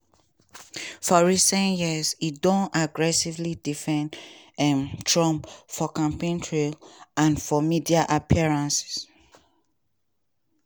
for recent years e don aggressively defend um trump for campaign trail and for media appearances.